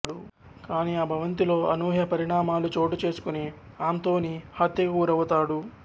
కానీ ఆ భవంతిలో అనూహ్య పరిణామాలు చోటు చేసుకుని ఆంథోనీ హత్యకు గురవుతాడు